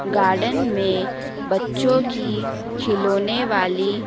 garden में बच्चों की खिलौने वाली--